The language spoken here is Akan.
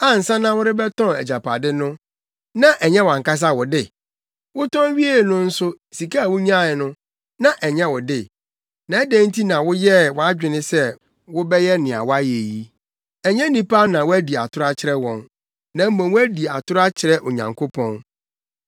Ansa na worebɛtɔn agyapade no na ɛnyɛ wʼankasa wo de; wotɔn wiee no nso sika a wunyae no, na ɛnyɛ wo de; na adɛn nti na woyɛɛ wʼadwene sɛ wobɛyɛ nea woayɛ yi? Ɛnyɛ nnipa na woadi atoro akyerɛ wɔn, na mmom woadi atoro akyerɛ Onyankopɔn.”